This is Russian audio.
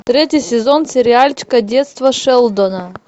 третий сезон сериальчика детство шелдона